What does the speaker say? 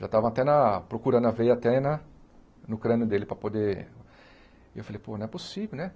Já estava até na procurando a veia até na no crânio dele para poder... E eu falei, pô, não é possível, né?